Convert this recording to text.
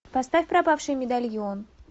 поставь пропавший медальон